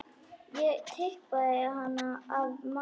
Ég tippaði hana af mætti.